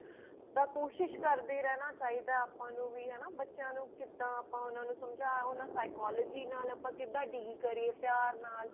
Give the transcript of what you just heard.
ਤਾਂ ਕੋਸ਼ਿਸ਼ ਕਰਦੇ ਰਿਹਣਾ ਚਾਹਿਦਾ ਆਪਾਂ ਨੂੰ ਵੀ ਹਨਾ ਬੱਚਿਆਂ ਨੂੰ ਕਿਦਾਂ ਆਪਾਂ ਉਹਨਾਂ ਨੂੰ ਸਮਝਾ ਉਹਨਾਂ psychology ਨਾਲ ਆਪਾਂ ਕਿਦਾਂ deal ਕਰੀਏ ਪਿਆਰ ਨਾਲ